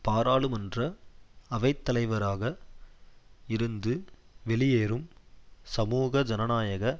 பாராளுமன்ற அவைத்தலைவராக இருந்து வெளியேறும் சமூக ஜனநாயக